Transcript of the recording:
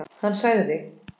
Hann sagði